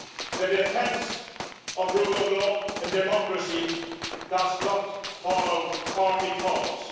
The defence of rule of law and democracy does not follow party colours.